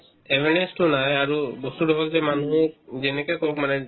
নাহে আৰু বস্তুতো হ'ল যে মানুহো যেনেকে কওক মানে